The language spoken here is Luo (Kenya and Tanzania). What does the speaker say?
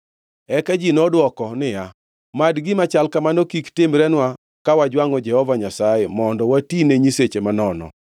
Eka ji nodwoko niya, “Mad gima chal kamano kik timrenwa ka wajwangʼo Jehova Nyasaye, mondo watine nyiseche manono!